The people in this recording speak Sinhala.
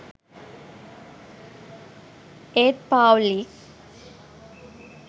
ඒත් පාව්ලික්